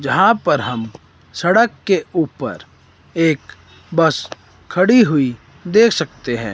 यहां पर हम सड़क के ऊपर एक बस खड़ी हुई देख सकते है।